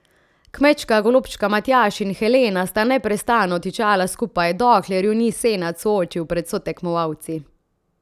Kmečka golobčka Matjaž in Helena sta neprestano tičala skupaj, dokler ju ni Senad soočil pred sotekmovalci.